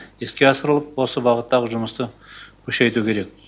іске асырылып осы бағыттағы жұмысты күшейту керек